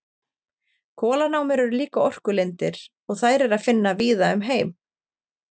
Kolanámur eru líka orkulindir og þær er að finna víða um heim.